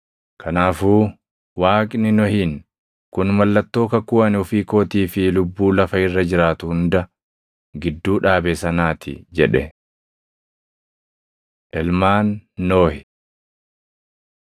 Kanaafuu Waaqni Nohiin, “Kun mallattoo kakuu ani ofii kootii fi lubbuu lafa irra jiraatu hunda gidduu dhaabe sanaa ti” jedhe. Ilmaan Nohi